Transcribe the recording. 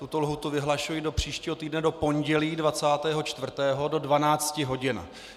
Tuto lhůtu vyhlašuji do příštího týdne do pondělí 24. do 12 hodin.